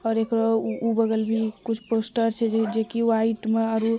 और एकरो उ बागल भी कुछ पोस्टर छै जे की व्हाइट में आरु ----